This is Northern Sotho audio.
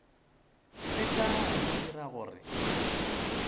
leka go mo dira gore